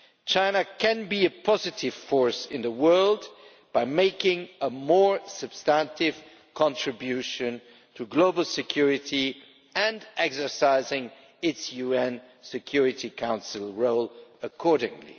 China can be a positive force in the world by making a more substantive contribution to global security and exercising its UN Security Council role accordingly.